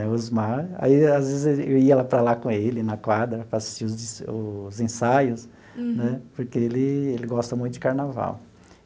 O Osmar...Aí as vezes, eu ia lá para lá com ele, na quadra, para assistir os os ensaios né, porque ele ele gosta muito de carnaval.